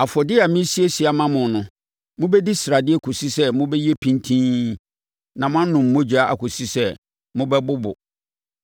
Afɔdeɛ a meresiesie ama mo no, mobɛdi sradeɛ kɔsi sɛ mobɛyɛ pintinn na moanom mogya akɔsi sɛ mobɛbobo.